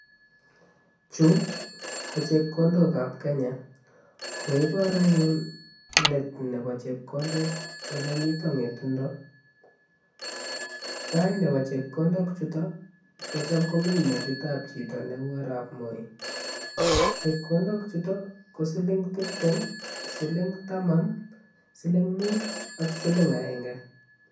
Chuu ko chekondok ab kenya koibor anyun let nebo chepkondet ole miten ngetundo tai nebo chepkondok chutok kochan komii metit ab chito neu arap moi chepkondok chutok ko siling tiptem, siling taman' siling mut ak siling agenge.